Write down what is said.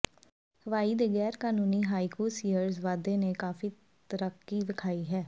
ਹਵਾਈ ਦੇ ਗੈਰ ਕਾਨੂੰਨੀ ਹਾਇਕੂ ਸੀਅਰਜ਼ ਵਾਧੇ ਨੇ ਕਾਫ਼ੀ ਡਰਾਕੀ ਵਿਖਾਈ ਹੈ